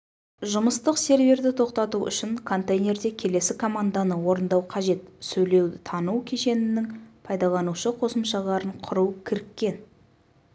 жұмыстық серверді тоқтату үшін контейнерде келесі команданы орындау қажет сөйлеуді тану кешенінің пайдаланушы қосымшаларын құру кіріккен